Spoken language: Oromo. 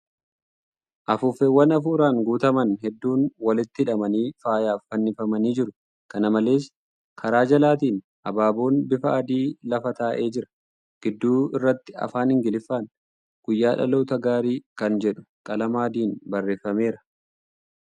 Afuuffeewwan afuuraan guuttaman hedduun walitti hidhamanii faayaaf fannifamanii jiru. Kana malees, kara jalaatiin abaaboon bifa adii lafa taa'ee jira. Gidduu irratti Afaan Ingiliffaan' guyyaa dhaloota gaarii' kan jedhu qalama adiin barreeffameera.